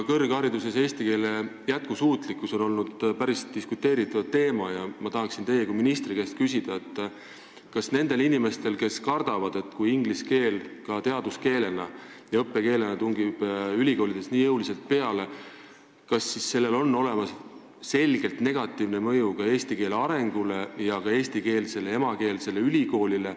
Aga eesti keele jätkusuutlikkus kõrghariduses on olnud päris diskuteeritav teema ja ma tahaksin teie kui ministri käest küsida, kas õigus on nendel inimestel, kes kardavad, et kui inglise keel teaduskeelena ja õppekeelena tungib ülikoolides nii jõuliselt peale, siis on sellel selgelt negatiivne mõju ka eesti keele arengule ja emakeelsele ülikoolile.